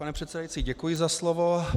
Pane předsedající, děkuji za slovo.